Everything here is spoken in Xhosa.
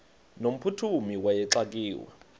no mphuthumi wayexakiwe